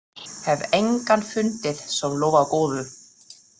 Hef engan fundið sem lofar góðu.